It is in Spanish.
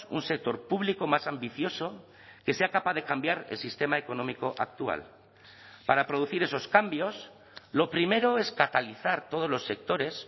un sector público más ambicioso que sea capaz de cambiar el sistema económico actual para producir esos cambios lo primero es catalizar todos los sectores